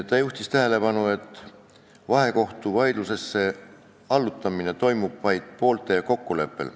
Ta juhtis tähelepanu, et vahekohtuvaidlusesse allutamine toimub vaid poolte kokkuleppel.